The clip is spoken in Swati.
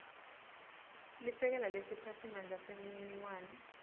lisekela lesiphatsimandla semininingwane